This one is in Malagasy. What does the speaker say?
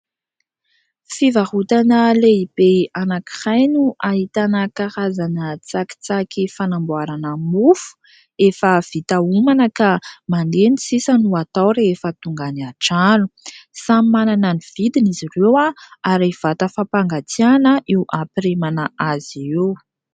Fivarorana lehibe ankiray no ahitana karazana tsakitsaky fanamboarana mofo efa vita omana ka manendy sisa no atao rehefa tonga any antrano. Samy manana ny vidiny izy ireo ary vata fampangatsiahana io ampirimana azy io.